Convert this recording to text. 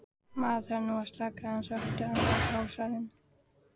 Maður þarf nú að slaka aðeins á eftir allan hasarinn.